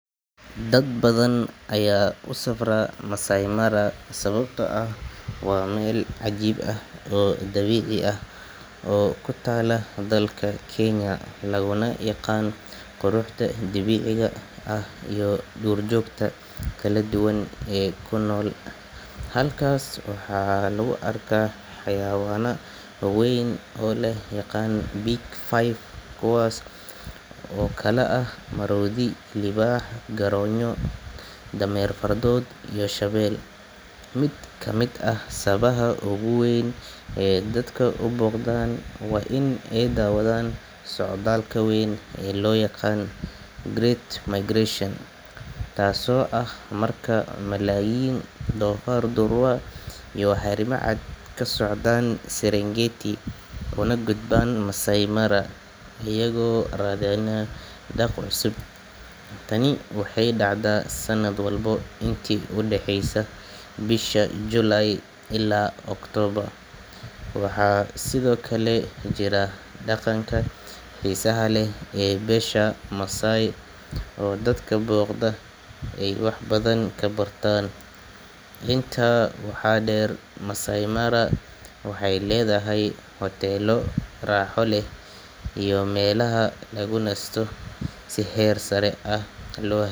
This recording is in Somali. Dad badan aya kusafra maasai mara sawabto ah waa meel cajib ah dabici ah oo kutala dalka kenya laguna yaqan dabiciga ah iyo dur jogta kala duwan ee kunol halkas waxaa lagu arkaa xayawana weyn oo lo yaqano big five kuwas oo kala ah marodhi liwax garonyo dameer fardod iyo shawel, miid kamiid ah sawabaha ogu weyn ee dadka uboqdan waa in ee dawadhan socdalka weyn ee lo yaqano great migration taso ah marka malayin dofar iyo xarima caad kasocdan nketi kuna gudban maasai mara iyago radhinaya daq cusub, tani waxee dacda sanaad walbo inta udaxeysa bisha July ila October waxaa sithokale jira daqanka xisaha leh ee besha masai oo dadka boqda waxee ledhahay hotelo raxa leh iyo melaha lagu nasto si her sara ah.